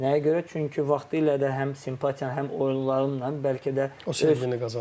Nəyə görə? Çünki vaxtilə də həm simpatiyamla, həm oyunlarımla, bəlkə də o sevgini qazanmışam.